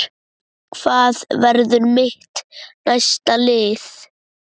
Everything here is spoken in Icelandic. Hvað verður mitt næsta lið?